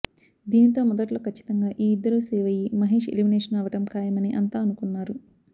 దీనితో మొదట్లో ఖచ్చితంగా ఈ ఇద్దరు సేవ్ అయ్యి మహేష్ ఎలిమినేషన్ అవ్వడం ఖాయమని అంతా అనుకున్నారు